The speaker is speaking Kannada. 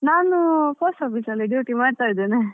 ನಾನು Post Office ಅಲ್ಲಿ duty ಮಾಡ್ತಾ ಇದ್ದೇನೆ.